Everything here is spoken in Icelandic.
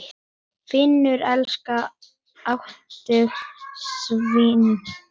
Finnur elskaði átthaga sína.